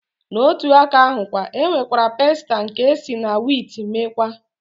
Na otu aka ahụkwa, e nwekwara pasta nke esi na wiit mekwaa.